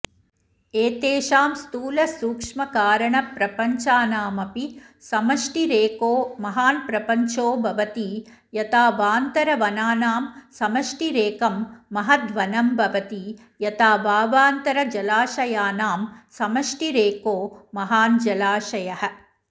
एतेषां स्थूलसूक्ष्मकारणप्रपञ्चानामपि समष्टिरेको महान्प्रपञ्चो भवति यथावान्तरवनानां समष्टिरेकं महद्वनं भवति यथा वावान्तरजलाशयानां समष्टिरेको महान् जलाशयः